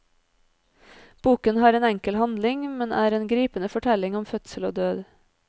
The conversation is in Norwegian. Boken har en enkel handling, men er en gripende fortelling om fødsel og død.